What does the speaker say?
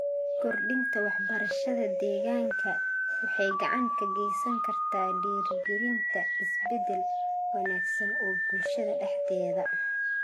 Kordhinta waxbarashada deegaanka waxay gacan ka geysan kartaa dhiirrigelinta isbedel wanaagsan oo bulshada dhexdeeda.